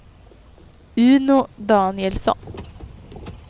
Uno Danielsson